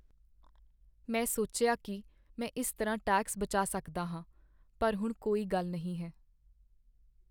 ਮੈਂ ਸੋਚਿਆ ਕੀ ਮੈਂ ਇਸ ਤਰ੍ਹਾਂ ਟੈਕਸ ਬਚਾ ਸਕਦਾ ਹਾਂ, ਪਰ ਹੁਣ ਕੋਈ ਗੱਲ ਨਹੀਂ ਹੈ